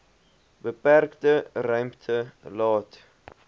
beperkte ruimte laat